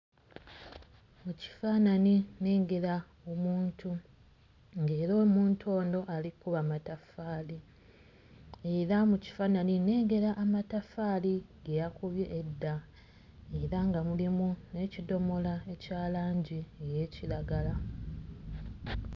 Mu kifaananyi nnengera omuntu ng'era omuntu ono ali kkuba mataffaali, era mu kifaananyi nnengera amataffaali ge yakubye edda era nga mulimu n'ekidomola ekya langi ey'ekiragala.